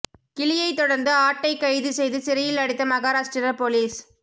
கிளியைத் தொடர்ந்து ஆட்டைக் கைது செய்து சிறையில் அடைத்த மகாராஷ்டிர போலீஸ்